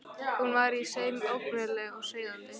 Hún var í senn ógnvænleg og seiðandi.